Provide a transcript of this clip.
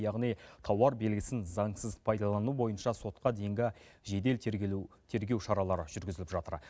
яғни тауар белгісін заңсыз пайдалану бойынша сотқа дейінгі жедел тергелу тергеу шаралары жүргізіліп жатыр